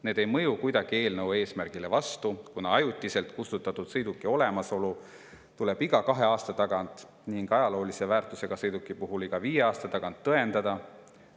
Nende mõju ei ole kuidagi eelnõu eesmärgile vastupidine, kuna ajutiselt kustutatud sõiduki olemasolu tuleb iga kahe aasta tagant ning ajaloolise väärtusega sõiduki puhul iga viie aasta tagant tõendada.